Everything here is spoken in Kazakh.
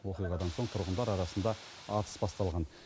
оқиғадан соң тұрғындар арасында атыс басталған